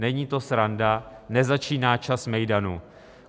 Není to sranda, nezačíná čas mejdanu.